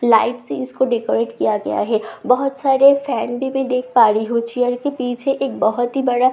light से इसको decorate किया गया है बहोत सारे फैन भी मैं देख पा रही हूँ चेयर के पीछे एक बहोत ही बड़ा --